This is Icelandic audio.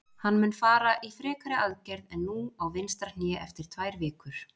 Hann mun fara í frekari aðgerð en nú á vinstra hné eftir tvær vikur.